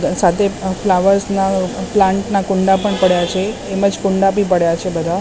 સાથે ફ્લાવર્સ ના પ્લાન્ટ ના કુંડા પણ પડ્યા છે એમજ કુંડા બી પડ્યા છે બધા --